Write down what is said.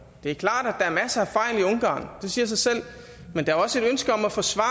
det siger sig selv men der er også et ønske om at forsvare